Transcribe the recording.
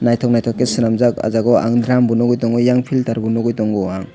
naitok naitok ke selamjak o jaga o ang dram bo nogoi tongo filter bo nogoi tongo aang.